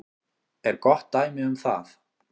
er gott dæmi um það.